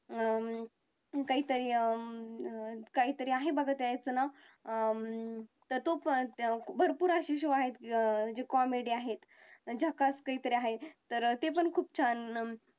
अं काही तरी अं काही तरी आहे बघा ते एक चला अं तर तो पण भरपूर असे शो आहेत जे comedy आहेत झक्कास वैगेरे आहेत ते पण खुप छान अं